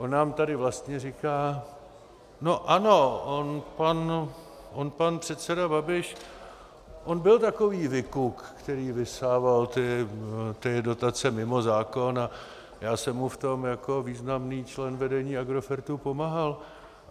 On nám tady vlastně říká: No ano, on pan předseda Babiš, on byl takový vykuk, který vysával ty dotace mimo zákon, a já jsem mu v tom jako významný člen vedení Agrofertu pomáhal.